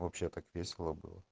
вообще так весело